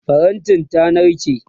farantin ta narke